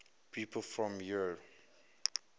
people from eure